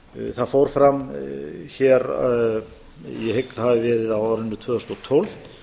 það fór fram hér ég hygg að það hafi verið á árinu tvö þúsund og tólf